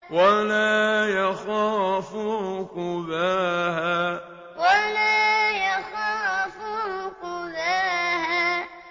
وَلَا يَخَافُ عُقْبَاهَا وَلَا يَخَافُ عُقْبَاهَا